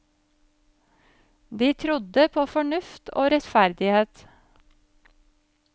De trodde på fornuft og rettferdighet.